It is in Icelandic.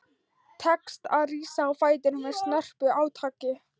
Tekst að rísa á fætur með snörpu átaki.